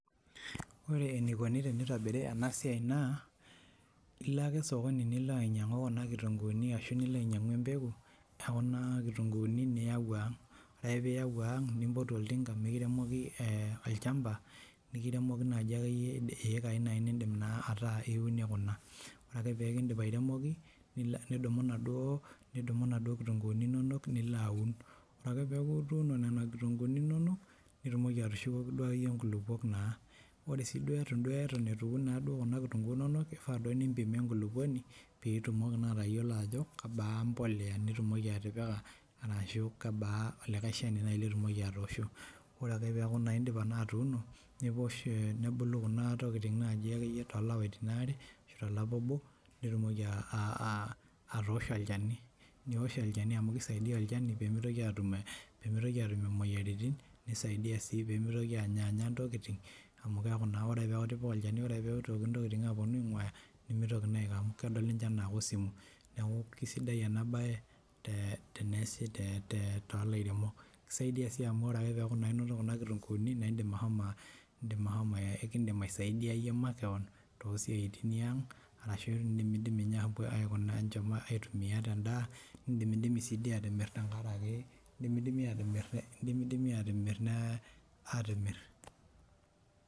Wore enikoni tenitobir enasiai naa ilo ake osokoni nilo ainyangu kuna kitunguuni ashu nilo ainyangu empeku ekuna kitunguuni niyawu aang, wore ake peyie eyau ang, nimpotu oltinga mikiremoki eeh olchampa, nikiremoki naaji akeyie eikai nidim naa ataa iunie kuna. Wore ake peyie kidip airemoki nidumu naduo kitunguuni inonok nilo aun, wore ake peyie eyaku ituuno nena kitunguuni inonok nitumoki atushukoki duo akeyie inkulupuok naa. Wore sii duo eton itu eun kuna kitunguuni inonok, kifaa duo mimpim duo enkulupuoni, peyie itumoki naa atayiolo ajo kebaa embolea nitumoki atipika arashu kebaa olikai shani naaji atoshoo, wore ake peyie eyaku naa idipa naa atuuno, newish eeh nebulu kuna tokiting naji akeyie too ilapaitin aare ashu tolapa obo, nitumoki atoshoo olchani. Niwosh olchani amu kisaidia olchani peyie mitoki atum imoyiaritin, nisaidia sii peyie mitoki anyanya intokitin, amu keaku naa wore ake peyie ipik olchani, wore ake peyie itoki intokitin aponu ainguya nimitoki naa aiko amu kedol naa ninje anaa koosumu. Niaku kisidai enaabaye teneasi, tooilairemok kisaidia sii amu wore ake peyie ayaku inoto kuna kitunguuni naa idim ashomo eeh kidim aisaidia iyie makewon too isiaitin iyiang arashu idim ninye apo aitumia tendaa, nidimidimi sii doi ateyier tengaraki dimidimi atimir nee atimir.